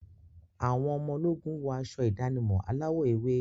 Àwọn ọmọ ológun wọ aṣọ ìdánimọ̀ aláwọ̀ ewé.